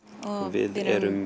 við erum